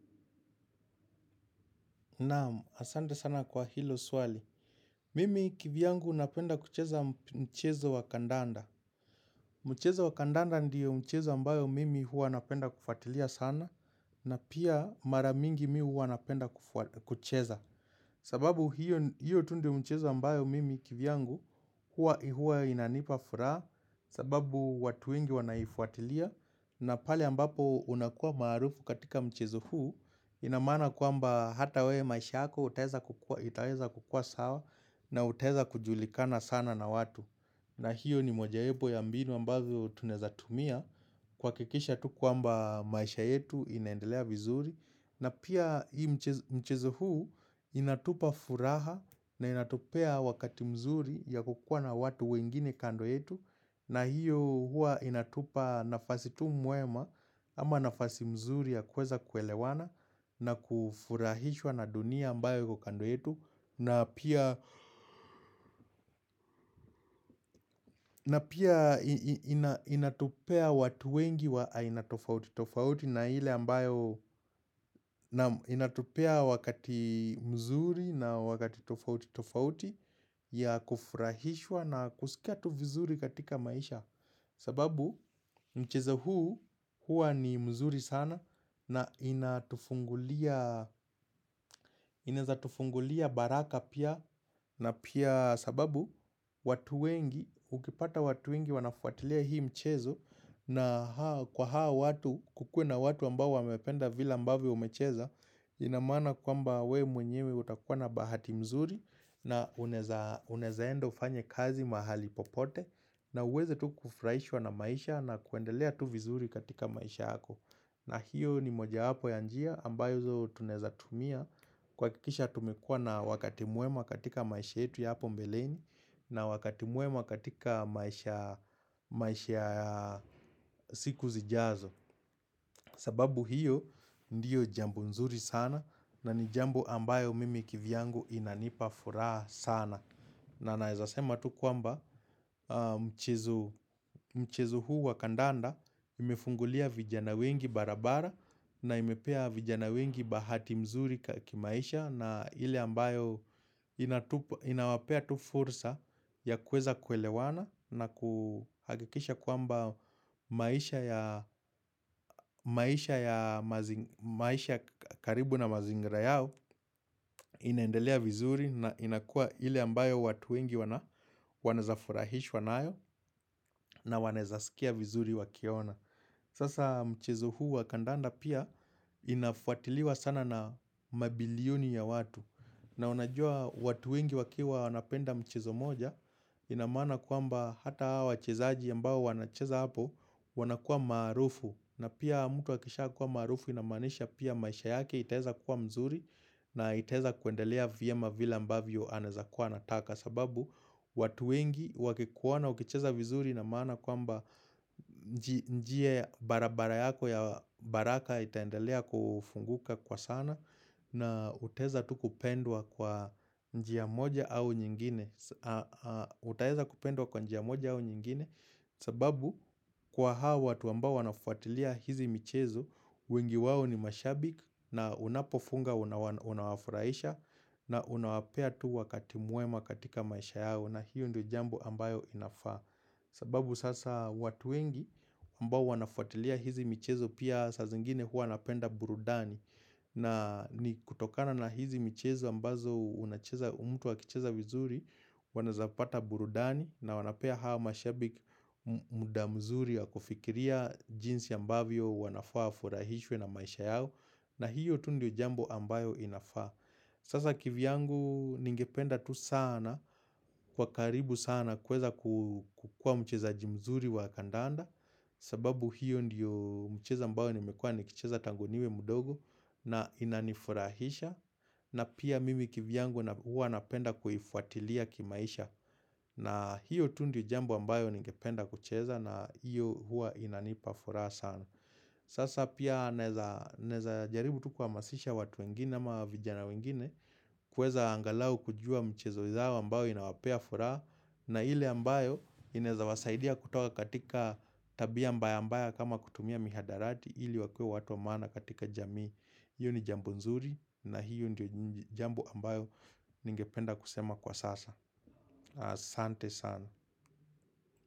Naam, asante sana kwa hilo swali. Mimi kivyangu napenda kucheza mchezo wa kandanda. Mchezo wa kandanda ndio mchezo ambayo mimi hua napenda kufatilia sana na pia maramingi miu hua napenda kucheza. Sababu hiyo tu ndi mchezo ambayo mimi kivyangu huwa inanipa furaa. Sababu watu wengi wanaifuatilia na pale ambapo unakua marufu katika mchezo huu. Inamana kwamba hata we maisha ako itaweza kukua sawa na utaweza kujulikana sana na watu. Na hiyo ni mojawepo ya mbinu ambazo tunezatumia kuhakikisha tu kuamba maisha yetu inaendelea vizuri na pia hii mchezo huu. Inatupa furaha na inatopea wakati mzuri ya kukua na watu wengine kando yetu na hiyo hua inatupa nafasi tu muema ama nafasi mzuri ya kweza kuelewana na kufurahishwa na dunia ambayo kukando yetu. Na pia inatupea watu wengi wa inatofauti tofauti na hile ambayo. Inatopea wakati mzuri na wakati tofauti tofauti ya kufurahishwa na kusikia tu vizuri katika maisha. Sababu mchezo huu hua ni mzuri sana na inatufungulia. Inaeza tufungulia baraka pia na pia sababu watu wengi ukipata watu wengi wanafuatilia hii mchezo. Na kwa hao watu kukue na watu ambao wamependa vila ambavyo umecheza. Inamana kwamba we mwenyewe utakuwa na bahati mzuri na unaezaenda ufanye kazi mahali popote na uweze tu kufraishwa na maisha na kuendelea tu vizuri katika maisha hako. Na hiyo ni moja wapo ya njia ambayo tunaeza tumia Kwa kikisha tumekua na wakati muema katika maisha yetu ya hapo mbeleni na wakati muema katika maisha siku zijazo. Sababu hiyo ndiyo jambo nzuri sana na ni jambo ambayo mimi kivyangu inanipa furaha sana na naezasema tu kwamba. Mchezo huu wakandanda imefungulia vijana wengi barabara na imepea vijana wengi bahati mzuri kakimaisha na ili ambayo. Inawapea tufursa ya kweza kwelewana na kuhagikisha kuamba maisha ya maisha karibu na mazingira yao. Inaendelea vizuri na inakua ili ambayo watu wengi wanaezafuraya. Hishwa nayo na wanezasikia vizuri wakiona. Sasa mchezo huu wakandanda pia inafuatiliwa sana na mabilioni ya watu. Na unajua watu wengi wakiwa wanapenda mchezo moja Inamana kwamba hata wachezaji ambao wanacheza hapo. Wanakua marufu na pia mtu wakisha kuwa marufu inamanisha pia maisha yake iteza kuwa mzuri. Na iteza kuendelea vyema vila ambavyo anezakua nataka sababu. Watu wengi wakikuona ukicheza vizuri na mana kwa mba. Njie barabara yako ya baraka itaendelea kufunguka kwa sana. Na uteza tu kupendwa kwa njia moja au nyingine. Utaeza kupendwa kwa njia moja au nyingine. Sababu kwa hawa watu ambao wanafuatilia hizi michezo. Wengi wawo ni mashabik na unapofunga unawafuraisha. Na unawapea tu wakati muema katika maisha yao na hiyo ndio jambo ambayo inafaa sababu sasa watu wengi ambao wanafuatilia hizi michezo pia sa zingine hua napenda burudani. Na ni kutokana na hizi michezo ambazo mtu wakicheza vizuri. Wanaezapata burudani na wanapea hawa mashabik muda mzuri wa kufikiria jinsi ambavyo wanafaa furahishwe na maisha yao. Na hiyo tu ndio jambo ambayo inafaa. Sasa kivyangu ningependa tu sana kwa karibu sana kweza kukua mcheza jimzuri wa kandanda. Sababu hiyo ndiyo mcheza ambayo nimekua nikicheza tangoniwe mudogo na inanifurahisha. Na pia mimi kivyangu huwa napenda kuifuatilia kimaisha. Na hiyo tu ndiyo jambo ambayo ningependa kucheza na hiyo huwa inanipa furaha sana. Sasa pia naezajaribu tu kuamasisha watu wengine ama vijana wengine. Kweza angalau kujua mchezo zao ambayo inawapea furaa. Na hile ambayo inezawasaidia kutoka katika tabia mbaya mbaya kama kutumia mihadarati hile wakue watu wa mana katika jamii Iyo ni jambo nzuri na hiyo ndio jambo ambayo ningependa kusema kwa sasa asante sana.